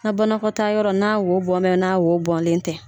Na banakɔtaayɔrɔ n' wo bɔnbɛn na wo bɔlen tɛ.